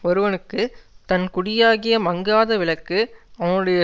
ஒருவனுக்கு தன் குடியாகிய மங்காத விளக்கு அவனுடைய